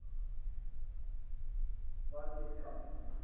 wat jy kan